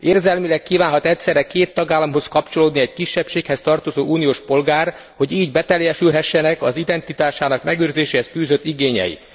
Érzelmileg kívánhat egyszerre két tagállamhoz kapcsolódni egy kisebbséghez tartozó uniós polgár, hogy így beteljesülhessenek az identitásának megőrzéséhez fűzött igényei.